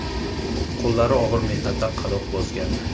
Qo‘llari og‘ir mehnatdan qadoq bosgandi.